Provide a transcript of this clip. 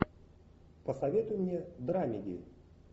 посоветуй мне драмеди